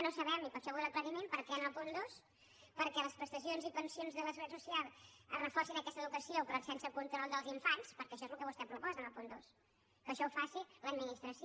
no ho sabem i per això vull l’aclariment per què en el punt dos perquè les prestacions i pensions de la seguretat social reforcin aquesta educació però sense control dels infants perquè això és el que vostè proposa en el punt dos que això ho faci l’administració